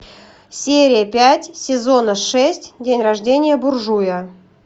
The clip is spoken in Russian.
серия пять сезона шесть день рождения буржуя